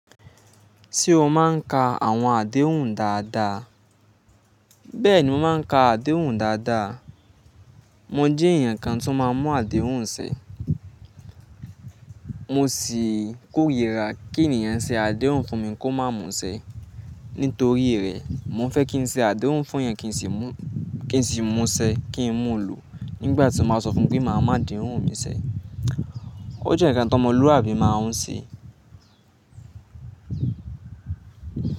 Ṣé o máa ń ka àwọn àdéhùn dáadáa? Bẹ́ẹ̀ni, mo máa ń ka àdéhùn dáadáa. Mo jẹ́ èèyàn kan tó máa ń mú àdéhùn ṣe. Mo sì kórira kí èniyàn ṣe àdéhùn fún mi kó má múṣẹ. Nítorí rẹ̀, mo fẹ́ kí n ṣe àdéhùn fún èèyàn kí n sì múṣẹ, kí n mú lò nígbà tí n bá sọ fún mi pé máa má àdéhùn mi ṣẹ. Ó jẹ́ ǹkan tó ọmọlúàbí máa ń ṣẹ.